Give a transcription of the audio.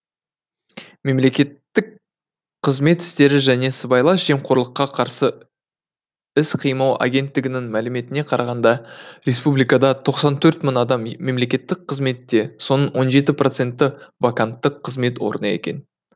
мемлекеттік қызмет істері және сыбайлас жемқорлыққа қарсы іс қимыл агенттігінің мәліметіне қарағанда республикада тоқсан төрт мың адам мемлекеттік қызметте соның он жеті проценті вакантты қызмет орны екен